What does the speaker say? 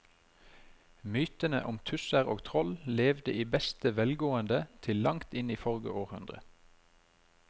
Mytene om tusser og troll levde i beste velgående til langt inn i forrige århundre.